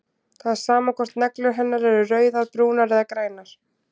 Það er sama hvort neglur hennar eru rauðar, brúnar eða grænar.